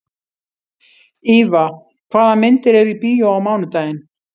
Íva, hvaða myndir eru í bíó á mánudaginn?